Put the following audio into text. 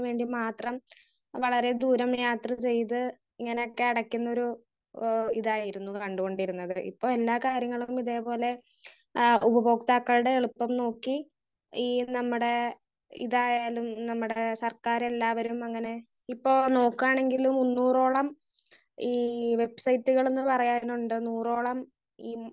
Speaker 1 ഇതിന് വേണ്ടി മാത്രം വളരെ ദൂരം യാത്ര ചെയ്ത് ഇങ്ങനെയൊക്കെ അടക്കുന്നൊരു ഏഹ് ഇതായിരുന്നു കണ്ടുകൊണ്ടിരുന്നത്. ഇപ്പൊ എല്ലാ കാര്യങ്ങളും ഇതേപോലെ ആഹ് ഉപഭോക്താക്കളുടെ എളുപ്പം നോക്കി ഈ നമ്മടെ ഇതായാലും നമ്മടെ സർക്കാര് എല്ലാവരും അങ്ങനെ ഇപ്പോ നോക്കാണെങ്കിലും മുന്നൂറോളം ഈ വെബ്സൈറ്റുകളെന്ന് പറയാറുണ്ട്. നൂറോളം